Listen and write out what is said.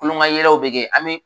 Kulon ka yɛlɛw bɛ kɛ an bi